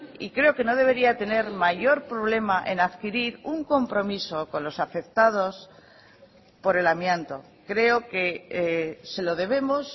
y creo que no debería tener mayor problema en adquirir un compromiso con los afectados por el amianto creo que se lo debemos